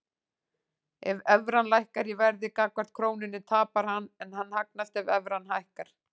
Ef evran lækkar í verði gagnvart krónunni tapar hann en hagnast ef evran hækkar.